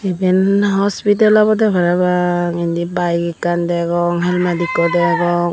iban hospital obode parapang indi bike ekkan degong helmet ekko degong.